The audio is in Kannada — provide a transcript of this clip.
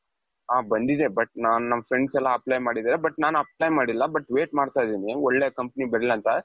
ಅ ಬಂದಿದೆ but ನಾನ್ ನನ್ನ friends ಎಲ್ಲಾ apply ಮಾಡಿದ್ದಾರೆ but ನಾನು apply ಮಾಡಿಲ್ಲ but wait ಮಾಡ್ತಾ ಇದ್ದೀನಿ ಒಳ್ಳೆ company ಬರಲಿ ಅಂತ .